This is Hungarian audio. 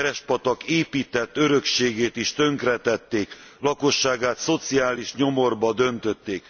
Verespatak épített örökségét is tönkretették, lakosságát szociális nyomorba döntötték.